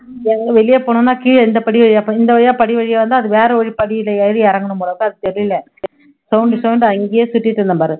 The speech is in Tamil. எங்க வெளிய போகணும்னா கீழ இந்த படி வழியா ப இந்த வழியா படி வழியா வந்தா அது வேற ஒரு படியில ஏறி இறங்கணும் போல அது தெரியல, அங்கேயே சுத்திட்டு இருந்தேன் பாரு